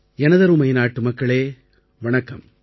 எனதருமை நாட்டுமக்களே வணக்கம்